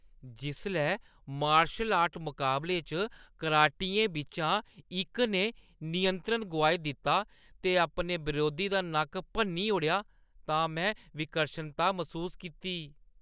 जिसलै martial art मकाबले च कराटियें बिच्चा इक ने नियंत्रण गोआई दित्ता ते अपने बरोधी दा नक्क भन्नी ओड़ेआ तां में विकर्शनता मसूस कीती।